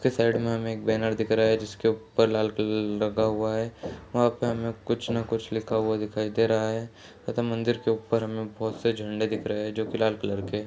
उसके साइड में हमें एक बैनर दिख रहा है जिसके ऊपर लाल कलर लगा हुआ है वहाँ पे हमें कुछ न कुछ लिखा हुआ दिखाई दे रहा है तथा मंदिर के ऊपर हमें बहोत से झंडे दिख रहे है जो की लाल कलर के --